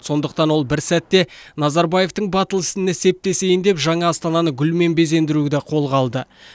сондықтан ол бір сәтте назарбаевтың батыл ісіне септесейін деп жаңа астананы гүлмен безендіруді қолға алды